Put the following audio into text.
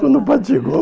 Quando o Padre chegou...